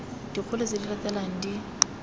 dikgolo tse di latelang di